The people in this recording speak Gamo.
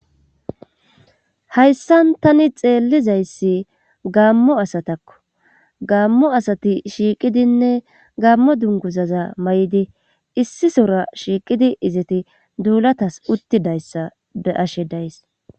Hayssan tani xeellizayssi gaammo asatakko gaammo asati shiiqidinne gaammo dunguzaza may7idi issi sora shiiqidi izeti duulatas uttidayssa eashe days